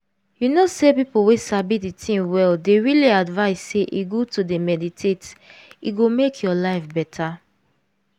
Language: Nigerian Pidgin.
u know sey people wey sabi dey thing well dey really advice sey e good to d meditate e go make ur life beta.